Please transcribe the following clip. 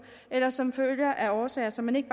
eller som følge af årsager som man ikke